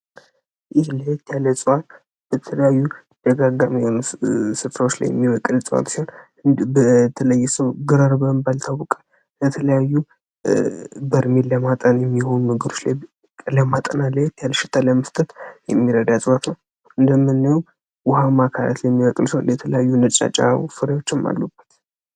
ይህ ለያለጸዋ በተለያዩ ደጋጋሚሆኑ ስፍራዎች ላይ የሚመቅድ ፅዋት ሲሆን በተለይሰው ግረር በህንባልታውቀ ለተለያዩ በርሚል ለማጠን የሚሆኑ ንግሮች ለማጠና ላይት ያለሽታ ለምስተት የሚረዳ ያጽዋት ነው እንደምነዩም ውሃ ማካለት የሚወቅል ሰው የተለያዩ ነጨናጫ ፍሪዎችም አሉባት